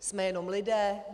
Jsme jenom lidé.